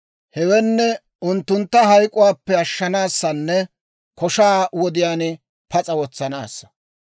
Hewenne, unttuntta hayk'k'uwaappe ashshanaassanne koshaa wodiyaan pas'a wotsanaassa.